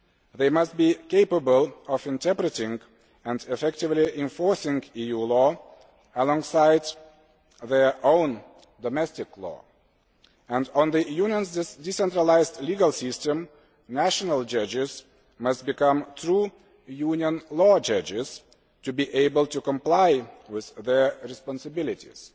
They must be capable of interpreting and effectively enforcing EU law alongside their own domestic law, and in the Union's decentralised legal system national judges must become true Union law judges to be able to comply with their responsibilities.